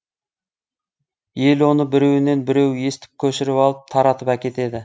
ел оны біреуінен біреуі естіп көшіріп алып таратып әкетеді